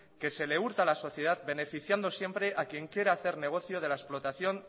que se le hurta a la sociedad beneficiando siempre a quien quiere hacer negocio de la explotación